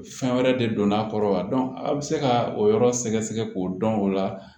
Fɛn wɛrɛ de don a kɔrɔ wa a bɛ se ka o yɔrɔ sɛgɛsɛgɛ k'o dɔn o la